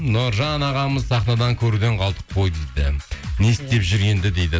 нұржан ағамызды сахнадан көруден қалдық қой дейді не істеп жүр енді дейді